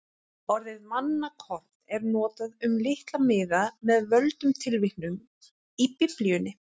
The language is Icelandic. Orðið mannakorn er notað um litla miða með völdum tilvitnunum í Biblíuna.